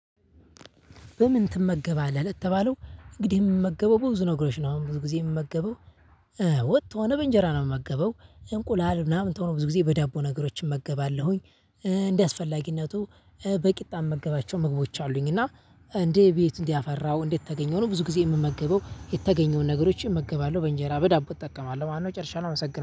በምን ትመገባለህ? ለተባለው እንግዲህ የምመገበው ብዙ ነገሮች ነው አሁን ብዙ ጊዜ የምመገበው ወጥ ሆነ በእንጀራ ነው የምመገበው እንቁላል ምናምን ተው ብዙ ጊዜ በዳቦ ነገሮች እመገባለሁኝ። እንዳስፈላጊነቱ በቂጣ ምመገባቸው ምግቦች አሉኝ። እና እንዴ ቤት እንዲህ አፈራው እንዴት ተገኘው ነው? ብዙ ጊዜ የምመገበው የተገኘውን ነገሮችን እመገባለሁ በእንጀራ በዳቦ እጠቀማለሁ ማለት ነው። ጨርሻለው አመሰግናለው